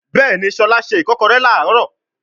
Bẹẹni, Shola ṣe ikokore ni aaro